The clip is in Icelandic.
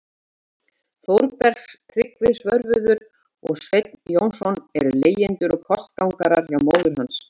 Þórbergs- Tryggvi Svörfuður og Sveinn Jónsson- eru leigjendur og kostgangarar hjá móður hans.